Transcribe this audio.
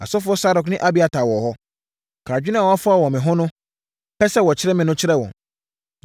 Asɔfoɔ Sadok ne Abiatar wɔ hɔ. Ka adwene a wɔafa wɔ me ho, pɛ sɛ wɔkyere me no kyerɛ wɔn,